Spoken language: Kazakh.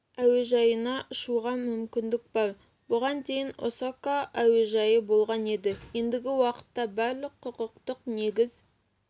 әуежайына ұшуға мүмкіндік бар бұған дейін осака әуежайы болған еді ендігі уақытта барлық құқықтық негіз